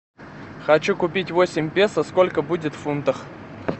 хочу купить восемь песо сколько будет в фунтах